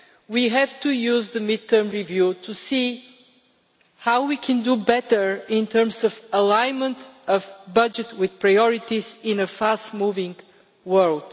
We have to use the mid term review to see how we can do better in terms of aligning the budget with the priorities in a fast moving world.